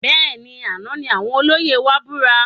Bẹẹni, àna ní àwọn olóyè wa búra